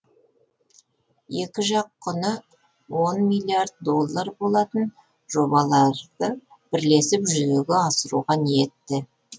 екі жақ құны он миллиард доллар болатын жобаларды бірлесіп жүзеге асыруға ниетті